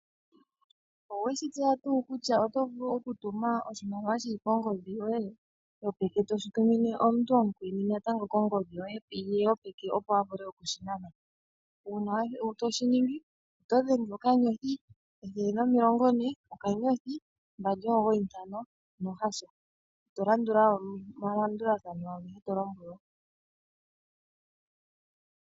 Owe shi tseya tuu kutya oto vulu okutuma oshimaliwa shi li kongodhi yoye yopeke toshi tumine kongodhi ya gulwe yopeke, opo a vule oku shi nana ko? Uuna to shi ningi oto thindi *140*295# to landula omalombwelo agehe to lombwelwa.